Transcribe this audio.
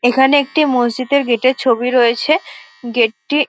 এখানে একটি মসজিদের গেট -এর ছবি রয়েছে গেট -টি --